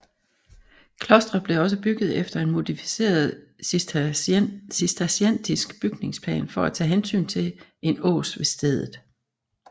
Klostret blev også bygget efter en modificeret cisterciensk bygningsplan for at tage hensyn til en ås ved stedet